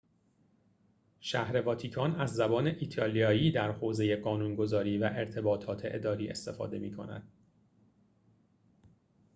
شهر واتیکان از زبان ایتالیایی در حوزه قانون‌گذاری و ارتباطات اداری استفاده می‌کند